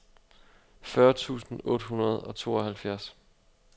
fyrre tusind otte hundrede og tooghalvfjerds